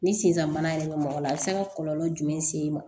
Ni senfa mana yɛlɛma mɔgɔ la a be se ka kɔlɔlɔ jumɛn se i ma